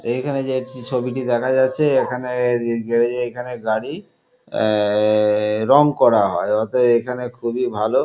এইখানে যে যেই ছবিটি দেখা যাচ্ছে এখানে-এ ইয়ে এ গ্যারেজ এ এখানে গাড়ি আআআ রং করা অতএব এখানে খুবই ভালো।